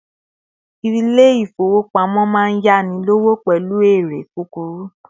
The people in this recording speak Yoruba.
ilé ifowopamọ ma n yani lọwọ pẹlu eré kukuru